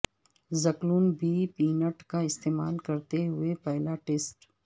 زکلون بی پینٹ کا استعمال کرتے ہوئے پہلا ٹیسٹ